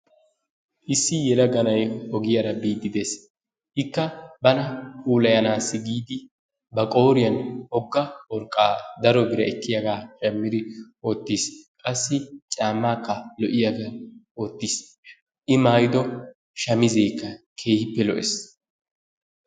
Issi yelaga na'ay ogiyaara biidi de'ees. Ikka bana pullayanaassi giidi ba qooriyan wogga worqqaa daro biraa ekkiyagaa shammiidi wottiis. Qassi caammaakka lo'iyagaa wottiis, I maayiddo shamizzeekka keehippe lo'ees.